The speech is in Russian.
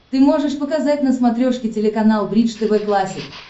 ты можешь показать на смотрешке телеканал бридж тв классик